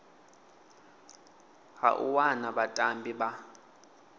ha u wana vhatambi vha